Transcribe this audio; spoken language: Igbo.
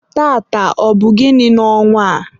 taata, ọ bụ gịnị n'ọnwa?